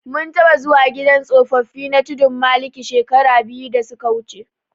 Mun taɓa zuwa gidan tsofaffi na Tudunmaliki shekara biyu da suka wuje.